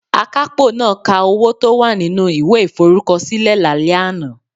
Akapo naa ka owo to wa ninu iwe iforukosile lale ana